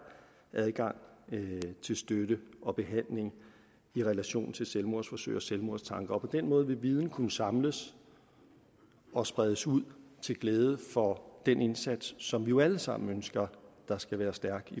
adgang til støtte og behandling i relation til selvmordsforsøg og selvmordstanker på den måde vil viden kunne samles og spredes ud til glæde for den indsats som vi jo alle sammen ønsker skal være stærk